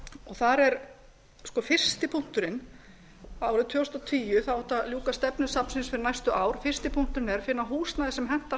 þar er fyrsti punkturinn árið tvö þúsund og tíu þá átti að ljúka stefnu safnsins fyrir næstu ár fyrsti punkturinn er að finna húsnæði sem hentar